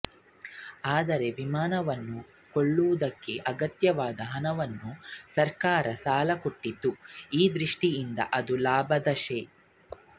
ಆದರೆ ವಿಮಾನವನ್ನು ಕೊಳ್ಳುವುದಕ್ಕೆ ಅಗತ್ಯವಾದ ಹಣವನ್ನು ಸರಕಾರವು ಸಾಲ ಕೊಟ್ಟಿತ್ತು ಈ ದೃಷ್ಟಿಯಿಂದ ಅದು ಲಾಭದ ಶೇ